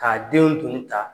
K'a denw tun ta